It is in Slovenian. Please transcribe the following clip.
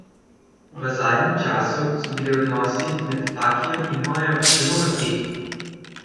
V zadnjem času so bili odnosi med Fakijem in Majo zelo napeti.